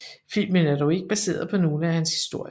Filmen er dog ikke baseret på nogle af hans historier